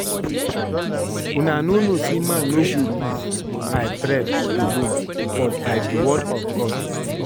Una no know say man no go live by bread alone but by the word of God